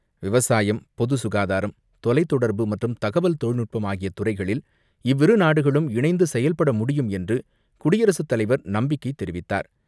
விவசாயம், பொது சுகாதாரம், தொலைத்தொடர்பு மற்றும் தகவல் தொழில்நுட்பம் ஆகிய துறைகளில் இவ்விரு நாடுகளும் இணைந்து செயல்பட முடியும் என்று குடியரசுத்தலைவர் நம்பிக்கை தெரிவித்தார்.